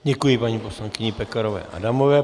Děkuji paní poslankyni Pekarové Adamové.